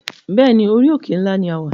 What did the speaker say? Bẹ́ẹ̀ni, orí òkè ńlá ní a wà